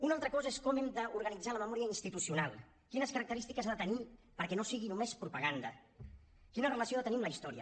una altra cosa és com hem d’organitzar la memòria institucional quines característiques ha de tenir perquè no sigui només propaganda quina relació ha de tenir amb la història